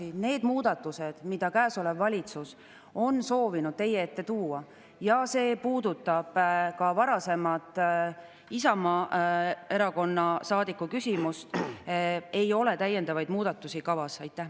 Need on need muudatused, mida käesolev valitsus on soovinud teie ette tuua – see puudutab ka varasemat Isamaa Erakonna saadiku küsimust –, ja täiendavaid muudatusi ei ole kavas.